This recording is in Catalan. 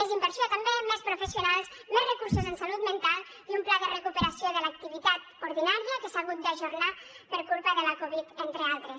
més inversió també més professionals més recursos en salut mental i un pla de recuperació de l’activitat ordinària que s’ha hagut d’ajornar per culpa de la covid entre altres